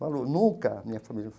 Falou, nunca, minha família.